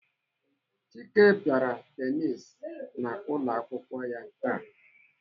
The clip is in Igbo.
Chike pịara tenisi n'ụlọakwụkwọ ya taa.